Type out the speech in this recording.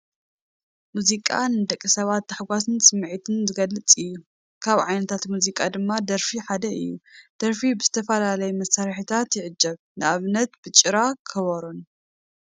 ሙዚቃ ንደቂ ሰባት ታሕጓስን ስምዒትን ዝገልፅ እዩ፡፡ ካብ ዓይነታት ሙዚቃ ድማ ደርፊ ሓደ እዩ፡፡ ደርፊ ብዝተፈላለየ መሳርሕታት ይዕጀብ፡፡ ንኣብነት ብጭራ፣ ከበሮን፡፡